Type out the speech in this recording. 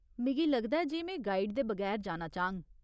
मिगी लगदा ऐ जे में गाइड दे बगैर जाना चाह्ङ।